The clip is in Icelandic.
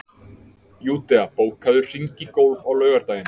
Júdea, bókaðu hring í golf á laugardaginn.